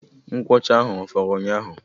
Nkwuọcha ahụ a fọrọ ụnyaahụ?